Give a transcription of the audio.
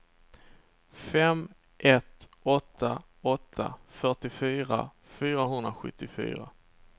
fem ett åtta åtta fyrtiofyra fyrahundrasjuttiofyra